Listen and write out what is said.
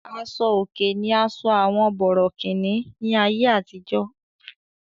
Aṣo-òkè ní àṣọ àwọn bòrọ̀kìní ní àyé àtìjọ́.